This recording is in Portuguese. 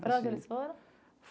Para onde eles foram?